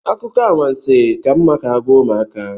Akụkọ anwansi ka mma ka agwa ụmụaka